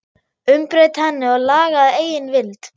Umbreyta henni og laga að eigin vild?